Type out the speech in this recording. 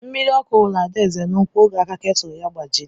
Mmiri ọkụ wuru Adaeze n'úkwu oge aka ketụl ya gbajiri.